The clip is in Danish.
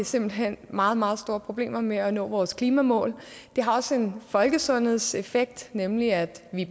simpelt hen meget meget store problemer med at nå vores klimamål det har også en folkesundhedseffekt nemlig at vi